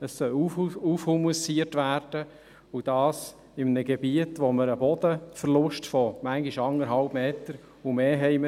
Es soll aufhumusiert werden und dies in einem Gebiet, in dem wir einen Bodenverlust von manchmal 1,5 Metern oder mehr haben.